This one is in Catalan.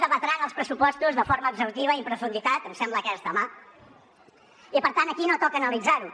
debatran els pressupostos de forma exhaustiva i en profunditat em sembla que és demà i per tant aquí no toca analitzar ho